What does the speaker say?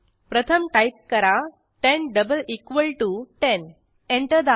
प्रथम टाईप करा 10 double equal T O 10 enter दाबा